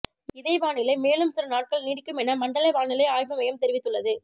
இதே வானிலை மேலும் சில நாட்கள் நீடிக்கும் என மண்டல வானிலை ஆய்வு மையம் தெரிவித்துள்ளது